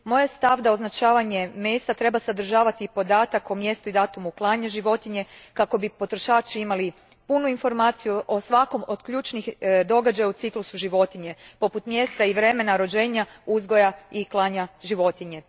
Moj je stav da označavanje mesa treba sadržavati i podatak o mjestu i datumu klanja životinje, kako bi potrošači imali punu informaciju o svakom od ključnih događaja u ciklusu životinje, poput mjesta i vremena rođenja, uzgoja i klanja životinje.